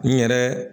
N yɛrɛ